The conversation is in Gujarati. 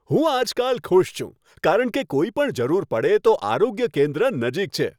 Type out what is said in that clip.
હું આજકાલ ખુશ છું કારણ કે કોઈપણ જરૂર પડે તો આરોગ્ય કેન્દ્ર નજીક છે.